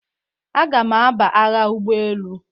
Aga m aba agha ụgbọ elu.